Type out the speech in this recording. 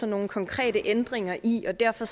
nogle konkrete ændringer i og derfor